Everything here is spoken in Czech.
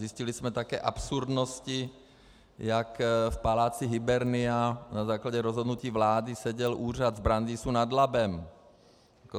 Zjistili jsme také absurdnosti jak v paláci Hybernia, na základě rozhodnutí vlády seděl úřad v Brandýse nad Labem.